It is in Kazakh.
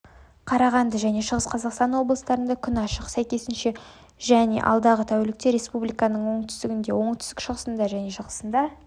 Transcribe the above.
қарағанды және шығыс қазақстан облыстарында күн ашық сәйкесінше және алдағы тәулікте республиканың оңтүстінде оңтүстік-шығысында және шығысында